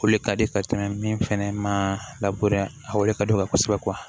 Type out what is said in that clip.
O le ka di ka tɛmɛ min fɛnɛ ma labɛn a de ka di u ye kosɛbɛ